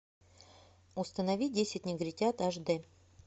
установи десять негритят аш д